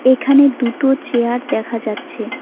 এখানে দুটো চেয়ার দেখা যাচ্ছে।